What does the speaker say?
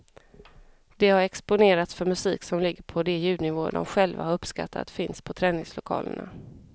De har exponerats för musik som ligger på de ljudnivåer som de själva har uppskattat finns på träningslokalerna.